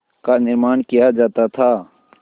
का निर्माण किया जाता था